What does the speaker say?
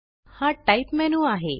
हा type menu आहे